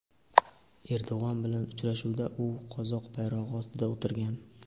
Erdo‘g‘an bilan uchrashuvda u qozoq bayrog‘i ostida o‘tirgan.